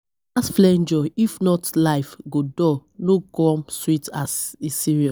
We ghas flenjo if not life go dull no come sweet as e serious.